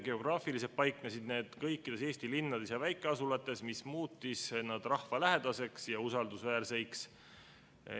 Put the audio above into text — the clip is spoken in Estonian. Geograafiliselt paiknesid need kõikides Eesti linnades ja väikeasulates, mis muutis nad rahvalähedaseks ja usaldusväärseks.